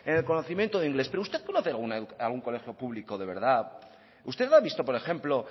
en el conocimiento del inglés pero usted conoce algún colegio público de verdad usted ha visto por ejemplo